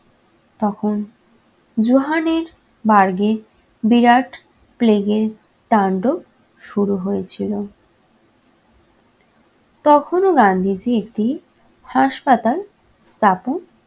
তখন johannesburg এ বিরাট plague এর তান্ডব শুরু হয়েছিল। তখনও গান্ধীজী একটি হাসপাতাল স্থাপন